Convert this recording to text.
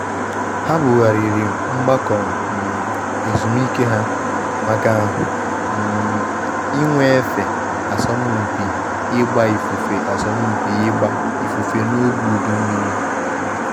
Ha bughariri mgbakọ um ezumike ha maka um inwe efe asọmupi ịgba ifufe asọmupi ịgba ifufe n’oge udu mmiri um